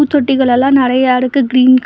தொட்டிகலெல்லா நெறைய இருக்கு கிரின் கு--